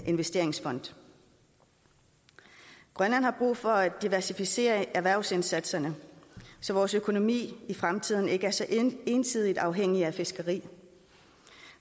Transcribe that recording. investeringsfond grønland har brug for at diversificere erhvervsindsatserne så vores økonomi i fremtiden ikke er så ensidigt afhængig af fiskeri